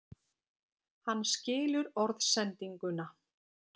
Hann skilur orðsendinguna.